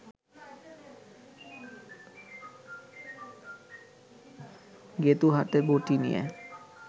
গেঁতু হাতে বটি নিয়ে